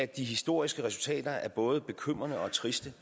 de historiske resultater er både bekymrende og triste